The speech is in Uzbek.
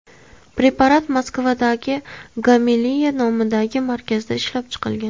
Preparat Moskvadagi Gamaleya nomidagi markazda ishlab chiqilgan.